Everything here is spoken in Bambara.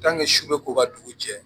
su bɛ ko ka dugu jɛ